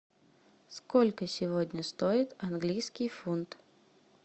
сколько сегодня стоит английский фунт